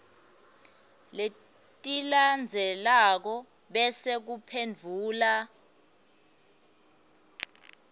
letilandzelako bese uphendvula